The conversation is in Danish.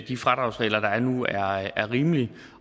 de fradragsregler der er nu er rimelige